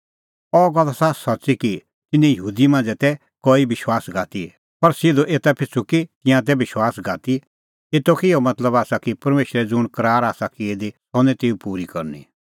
अह गल्ल आसा सच्च़ी कि तिन्नां यहूदी मांझ़ै तै कई विश्वासघाती पर सिधअ एता पिछ़ू कि तिंयां तै विश्वासघाती एतो कै इहअ मतलब आसा कि परमेशरै ज़ुंण करार आसा की दी सह निं तेऊ पूरी करनी